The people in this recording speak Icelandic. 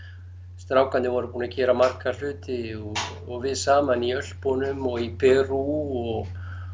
strákarnir voru búnir að gera marga hluti og við saman í Ölpunum og í Perú og